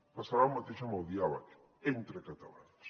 passarà el mateix amb el diàleg entre catalans